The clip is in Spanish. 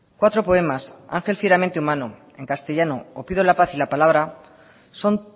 cuatro poemas ángel fieramente humano en castellano o pido la paz y la palabra son